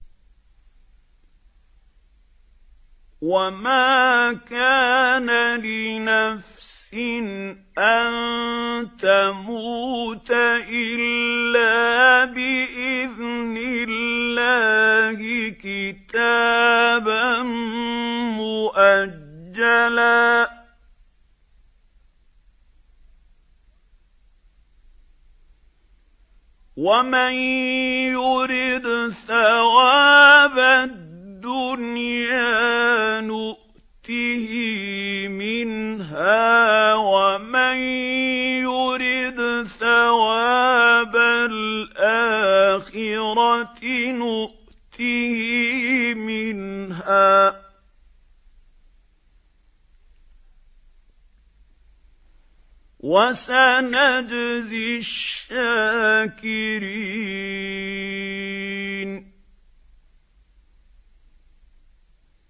وَمَا كَانَ لِنَفْسٍ أَن تَمُوتَ إِلَّا بِإِذْنِ اللَّهِ كِتَابًا مُّؤَجَّلًا ۗ وَمَن يُرِدْ ثَوَابَ الدُّنْيَا نُؤْتِهِ مِنْهَا وَمَن يُرِدْ ثَوَابَ الْآخِرَةِ نُؤْتِهِ مِنْهَا ۚ وَسَنَجْزِي الشَّاكِرِينَ